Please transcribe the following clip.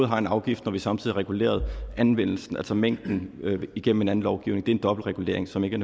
har en afgift når vi samtidig har reguleret anvendelsen altså mængden igennem en anden lovgivning det er en dobbeltregulering som ikke